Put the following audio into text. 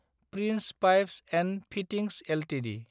prince pipes & fittings Ltd